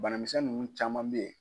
Banamisɛn ninnu caman bɛ ye.